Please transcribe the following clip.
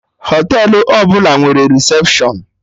Họtelụ ọbụla nwere recepshụn